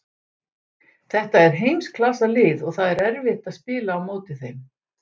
Þetta er heimsklassa lið og það er erfitt að spila á móti þeim.